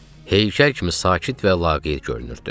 Heykəl kimi sakit və laqeyd görünürdü.